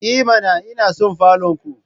I mana! Ina son falon ku